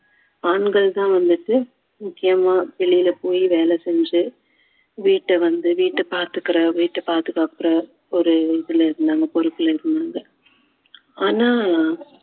ஆண்கள் தான் வந்துட்டு முக்கியமா வெளியில போய் வேலை செஞ்சு வீட்டை வந்து வீட்டை பாத்துக்குற வீட்டை பாதுகாக்கிற ஒரு இதுல இருந்தாங்க பொறுப்புல இருந்தாங்க ஆனா